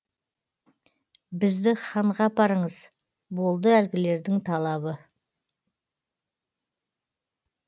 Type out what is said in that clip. бізді ханға апарыңыз болды әлгілердің талабы